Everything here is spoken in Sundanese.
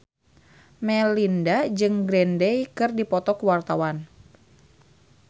Melinda jeung Green Day keur dipoto ku wartawan